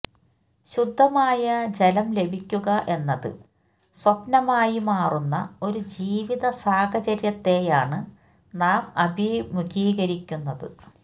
ശുദ്ധമായ ജലം ലഭിക്കുക എന്നത് സ്വപ്നമായി മാറുന്ന ഒരു ജീവിത സാഹചര്യത്തെയാണ് നാം അഭിമുഖീകരിക്കുന്നത്